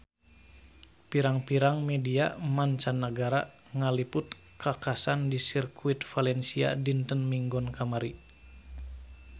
Pirang-pirang media mancanagara ngaliput kakhasan di Sirkuit Valencia dinten Minggon kamari